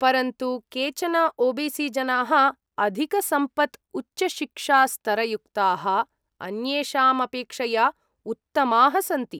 परन्तु केचन ओ.बी.सी. जनाः अधिकसम्पत्, उच्चशिक्षास्तरयुक्ताः, अन्येषाम् अपेक्षया उत्तमाः सन्ति।